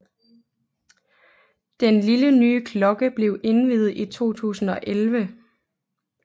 Den lille nye klokke blev indviet i 2011